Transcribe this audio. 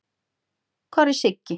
Hvar er Siggi?